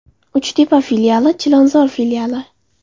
Uchtepa filiali: Chilonzor filiali :!